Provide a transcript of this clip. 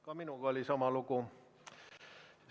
Ka minuga oli sama lugu.